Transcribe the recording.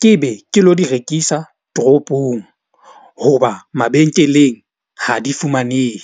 ke be ke lo di rekisa tropong. Hoba mabenkeleng ha di fumanehe.